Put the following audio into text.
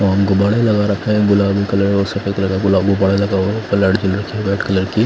और गुब्बारे लगा रखे हैं गुलाबी कलर और सफेद व्हाइट कलर की--